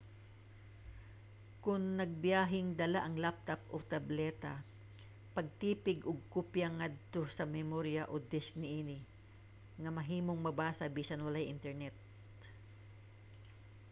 kon nagbiyaheng dala ang laptop o tableta pagtipig og kopya ngadto sa memorya o disk niini nga mahimong mabasa bisan walay internet